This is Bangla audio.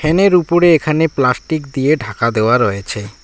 ফ্যানের উপরে এখানে প্লাস্টিক দিয়ে ঢাকা দেওয়া রয়েছে।